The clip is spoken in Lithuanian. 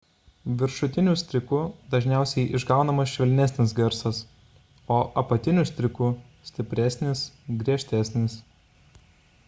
viršutiniu stryku dažniausiai išgaunamas švelnesnis garsas o apatiniu stryku – stipresnis griežtesnis